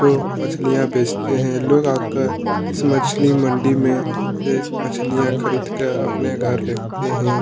जो मछलियां बेचते है लोग आकर इस मछली मंडी में से मछलियां खरीद कर अपने घर लेते है।